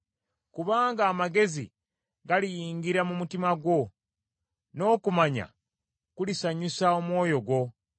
Kubanga amagezi galiyingira mu mutima gwo, n’okumanya kulisanyusa omwoyo gwo.